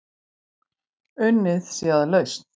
Unnið sé að lausn.